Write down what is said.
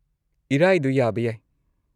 ꯏꯔꯥꯏꯗꯣ, ꯌꯥꯕ ꯌꯥꯏ꯫